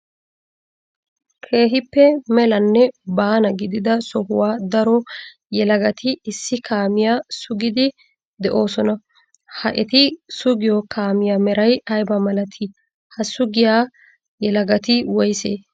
Keehippe melanne baana gididaa sohuwan daro yelagatti issi kaamiya sugide de'osonna ha etti sugiyo kaamiya meray ayba malatti? Ha sugiyaa yelagatti woysse?